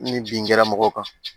Ni bin kɛra mɔgɔw kan